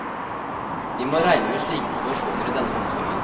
Vi må regne med slike situasjoner i denne omsorgen.